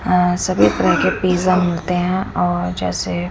अ सभी तरह के पिज्जा मिलते हैं और जैसे--